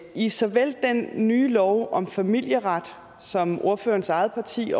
i såvel den nye lov om familieret som ordførerens eget parti